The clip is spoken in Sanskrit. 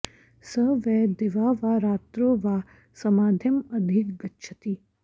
स वै दिवा वा रात्रौ वा समाधिं अधिगच्छति